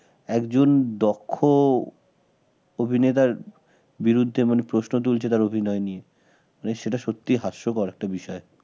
একজন দক্ষ অভিনেতার বিরুদ্ধে মানে প্রশ্ন তুলছে তার অভিনয় নিয়ে মানে সেটা সত্যিই হাস্যকর একটা বিষয়